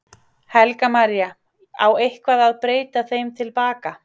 Helga María: Á eitthvað að breyta þeim til baka?